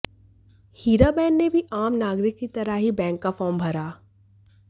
हीराबेन ने भी आम नागरिक की तरह ही बैंक का फॉर्म भरा